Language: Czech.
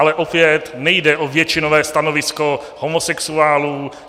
Ale opět nejde o většinové stanovisko homosexuálů.